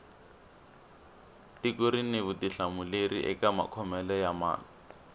tiko rini vutihlamuleri eka makhomele ya mali